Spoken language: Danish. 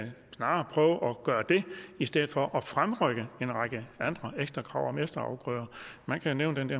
gøre det i stedet for at fremrykke en række andre ekstra krav om efterafgrøder man kan nævne